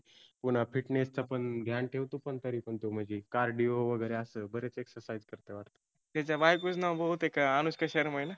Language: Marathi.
पुन्हा fitness चा पण ध्यान ठेवतो पण तरी पण तो म्हणजी cardio वगैरे वरेच exercise करतय वाटतं. त्याच्या बायकोच नाव बहुतेक आनुष्का शर्मा आहेना.